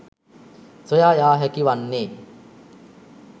සොයා යා හැකි වන්නේ